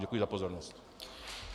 Děkuji za pozornost.